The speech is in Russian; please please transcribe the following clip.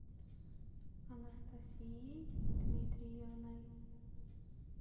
анастасией дмитриевной